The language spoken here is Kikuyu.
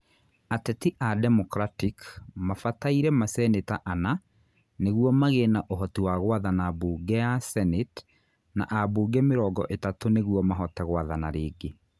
Ateti a Democratic mabataire maseneta ana nĩguo magĩe na uhoti wa gwathana mbunge ya Senate na ambunge mĩrongo ĩtatu nĩguo mahote gwathana rĩngĩ.